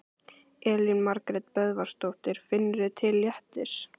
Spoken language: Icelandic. Elín Margrét Böðvarsdóttir: Finnurðu til léttis?